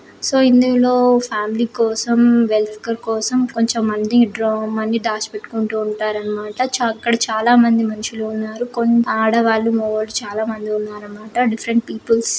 So ఇందులో family కోసం welcome కోసం కొంచం మంది డ్రా మని దాచిపెట్టుకుంటూ ఉంటారన్నమాట. అక్కడ చాలామంది మనుషులు ఉన్నారు. కొన్ ఆడవాళ్లు మగవాళ్ళు చాలామంది ఉన్నారన్నమాట. Different peoples --